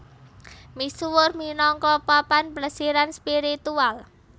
Misuwur minangka papan plesiran spiritual